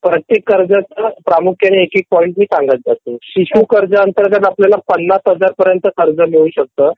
प्रत्येक प्रमकुख्याने मी एक एक पॉइंट सांगत जातो शिशु कर्ज अंतर्गत आपल्याला ५० हजार च कर्ज आपल्याला मिळू शकतं